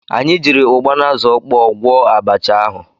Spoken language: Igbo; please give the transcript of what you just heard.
Anyị jiiri ụgba na azụ ọkpọọ gwọọ abacha ahụ.